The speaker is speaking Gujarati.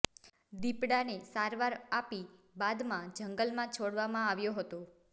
દીપડાને સારવાર આપી બાદમાં જંગલમાં છોડવામાં આવ્યો હતો